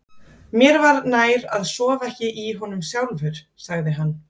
Mér var nær að sofa ekki í honum sjálfur, sagði hann.